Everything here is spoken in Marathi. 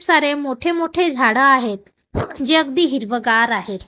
खूप सारे मोठे मोठे झाडं आहेत जे अगदी हिरवगार आहेत.